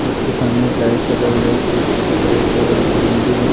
उसके सामने एक लाइट लगा हुआ है पीछे की तरफ और एक मंदिर है।